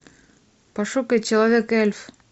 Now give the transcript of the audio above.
пошукай человек эльф